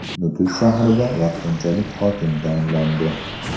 Nukus shahriga vaqtinchalik hokim tayinlandi.